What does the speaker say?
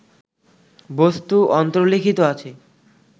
বস্তু অন্তর্লিখিত আছে